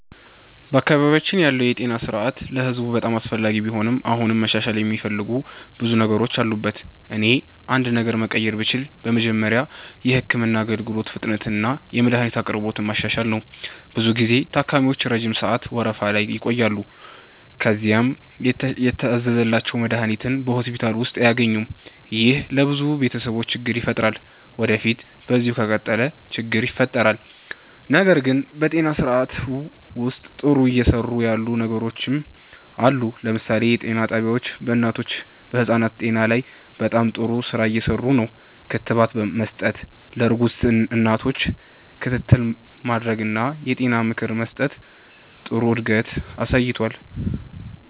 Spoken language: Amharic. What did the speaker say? በአካባቢያችን ያለው የጤና ስርዓት ለህዝብ በጣም አስፈላጊ ቢሆንም አሁንም መሻሻል የሚፈልጉ ብዙ ነገሮች አሉበት። እኔ አንድ ነገር መቀየር ብችል በመጀመሪያ የህክምና አገልግሎት ፍጥነትንና የመድሀኒት አቅርቦትን ማሻሻል ነው። ብዙ ጊዜ ታካሚዎች ረጅም ሰዓት ወረፋ ላይ ይቆያሉ፣ ከዚያም የታዘዘላቸውን መድሀኒት በሆስፒታል ውስጥ አያገኙም። ይህ ለብዙ ቤተሰቦች ችግር ይፈጥራል ወዴፊት በዚሁ ከቀጠለ ችግር ይፈጥራል። ነገር ግን በጤና ስርዓቱ ውስጥ ጥሩ እየሰሩ ያሉ ነገሮችም አሉ። ለምሳሌ የጤና ጣቢያዎች በእናቶችና በህፃናት ጤና ላይ በጣም ጥሩ ስራ እየሰሩ ነው። ክትባት መስጠት፣ ለእርጉዝ እናቶች ክትትል ማድረግ እና የጤና ምክር መስጠት ጥሩ እድገት አሳይቷል።